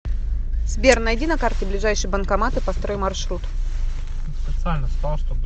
сбер найди на карте ближайший банкомат и построй маршрут